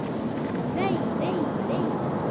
Vei, vei, vei.